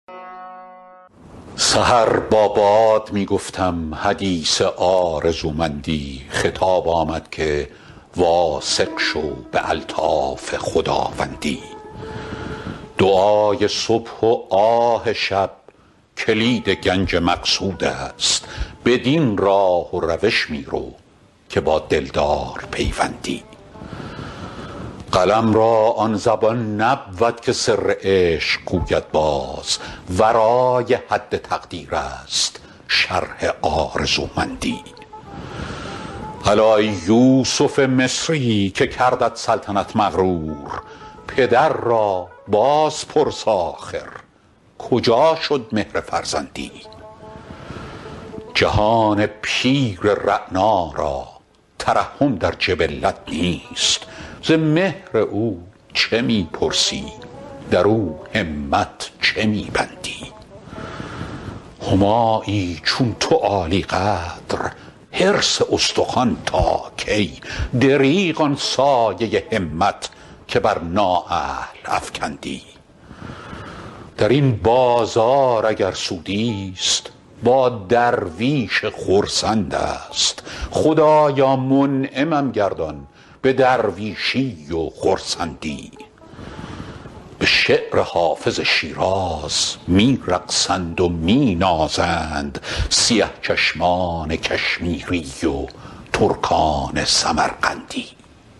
سحر با باد می گفتم حدیث آرزومندی خطاب آمد که واثق شو به الطاف خداوندی دعای صبح و آه شب کلید گنج مقصود است بدین راه و روش می رو که با دلدار پیوندی قلم را آن زبان نبود که سر عشق گوید باز ورای حد تقریر است شرح آرزومندی الا ای یوسف مصری که کردت سلطنت مغرور پدر را باز پرس آخر کجا شد مهر فرزندی جهان پیر رعنا را ترحم در جبلت نیست ز مهر او چه می پرسی در او همت چه می بندی همایی چون تو عالی قدر حرص استخوان تا کی دریغ آن سایه همت که بر نااهل افکندی در این بازار اگر سودی ست با درویش خرسند است خدایا منعمم گردان به درویشی و خرسندی به شعر حافظ شیراز می رقصند و می نازند سیه چشمان کشمیری و ترکان سمرقندی